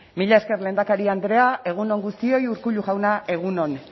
mila esker lehendakari andrea egun on guztioi urkullu jauna egun on